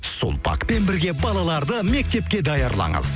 сулпакпен бірге балаларды мектепке даярлаңыз